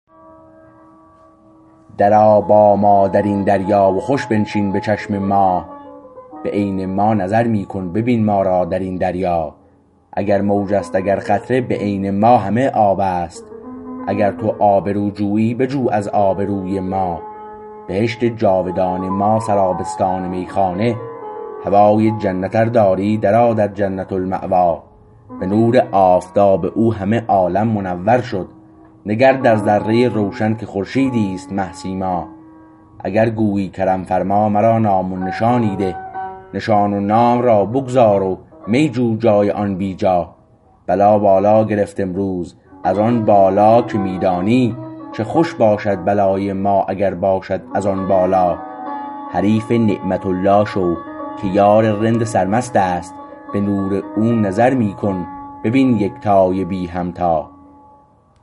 در آ با ما درین دریا و خوش بنشین به چشم ما به عین ما نظر می کن ببین ما را درین دریا اگر موج است اگر قطره به عین ما همه آبست اگر تو آبرو جویی بجو از آبروی ما بهشت جاودان ما سرابستان میخانه هوای جنت ار داری درآ در جنت الماوی به نور آفتاب او همه عالم منور شد نگر در ذره روشن که خورشیدیست مه سیما اگر گویی کرم فرما مرا نامی نشانی ده نشان و نام را بگذار و می جو جای آن بیجا بلا بالا گرفت امروز از آن بالا که می دانی چه خوش باشد بلای ما اگر باشد از آن بالا حریف نعمت الله شو که یار رند سرمست است به نور او نظر می کن ببین یکتای بی همتا